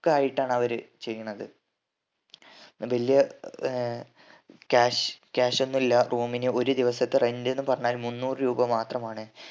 ആയിട്ടാണ് അവര് ചെയ്യുണത് പിന്നെ വല്യ ഏർ cash cash ഒന്നും ഇല്ല room ന് ഒരു ദിവസത്തെ rent ന്ന് പറഞ്ഞ മുന്നൂറ് രൂപ മാത്രമാണ്